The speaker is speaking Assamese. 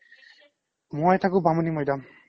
মই থাকো বামুনিমইদাম